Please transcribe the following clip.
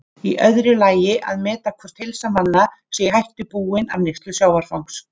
Í öðru lagi að meta hvort heilsu manna sé hætta búin af neyslu sjávarfangs.